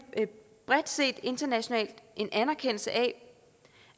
bredt set internationalt en anerkendelse af